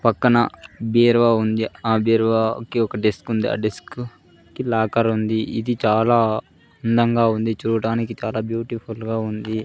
పక్కన బీరువా ఉంది ఆ బీరువా కి ఒక డెస్క్ ఉంది ఆ డెస్క్ కి లాకర్ ఉంది ఇది చాలా అందంగా ఉంది చూడటానికి చాలా బ్యూటిఫుల్ గా ఉంది.